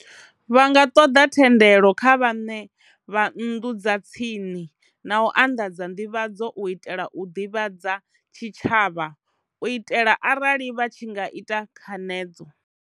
Vha nga ṱoḓa thendelo kha vhaṋe vha nnḓu dza tsini, na u anḓadza nḓivhadzo u itela u ḓivhadza tshitshavha, u itela arali vha tshi nga ita khanedzo.